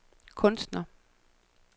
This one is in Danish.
kunstner